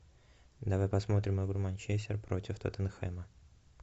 давай посмотрим игру манчестер против тоттенхэма